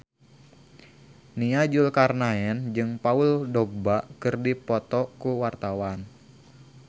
Nia Zulkarnaen jeung Paul Dogba keur dipoto ku wartawan